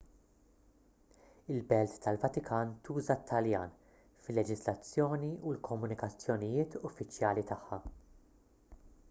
il-belt tal-vatikan tuża t-taljan fil-leġiżlazzjoni u l-komunikazzjonijiet uffiċjali tagħha